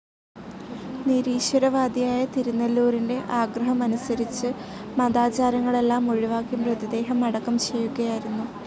നിരീശ്വവാദിയായ തിരുനെല്ലൂരിൻ്റെ ആഗ്രഹമനുസരിച്ച് മതാചാരങ്ങളെല്ലാം ഒഴിവാക്കി മൃതദേഹം അടക്കം ചെയ്യുകയായിരുന്നു.